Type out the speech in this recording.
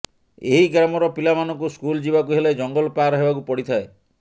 ଏହି ଗ୍ରାମର ପିଲା ମାନଙ୍କୁ ସ୍କୁଲ ଯିବାକୁ ହେଲେ ଜଙ୍ଗଲ ପାର ହେବାକୁ ପଡିଥାଏ